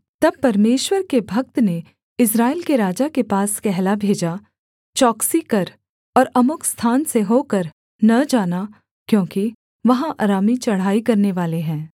तब परमेश्वर के भक्त ने इस्राएल के राजा के पास कहला भेजा चौकसी कर और अमुक स्थान से होकर न जाना क्योंकि वहाँ अरामी चढ़ाई करनेवाले हैं